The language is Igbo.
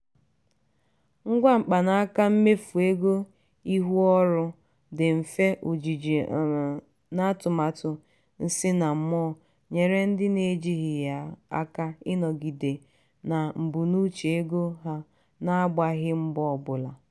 ngwa mkpanaka mmefu ego ihu ọrụ dị mfe ojiji na atụmatụ nsinammụọ nyere ndị na-eji ya aka ịnọgide na mbunuche ego ha na-agbaghị mbọ ọbụla.